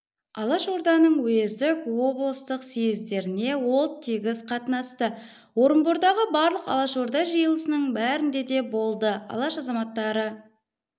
алашорданың уездік облыстық съездеріне ол тегіс қатынасты орынбордағы барлық алашорда жиылысының бәрінде де болды алаш азаматтары